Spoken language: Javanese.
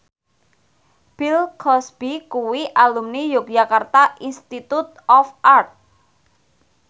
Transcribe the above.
Bill Cosby kuwi alumni Yogyakarta Institute of Art